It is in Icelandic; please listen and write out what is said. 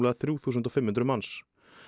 þrjú þúsund og fimm hundruð manns